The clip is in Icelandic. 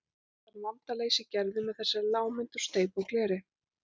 Þann vanda leysir Gerður með þessari lágmynd úr steypu og gleri.